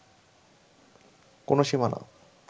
কোনো সীমানা